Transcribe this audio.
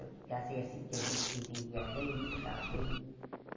Eu que casei assim, porque a gente se entendia bem, se dava bem.